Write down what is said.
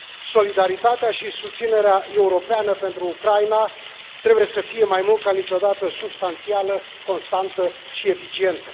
Solidaritatea și susținerea europeană pentru Ucraina trebuie să fie, mai mult ca niciodată, substanțială, constantă și eficientă.